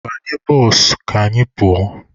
Banye bụsụ ka anyị pụọ!